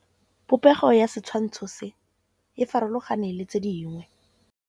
Popêgo ya setshwantshô se, e farologane le tse dingwe.